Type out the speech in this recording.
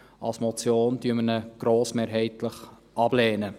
Als Motion lehnen wir ihn grossmehrheitlich ab.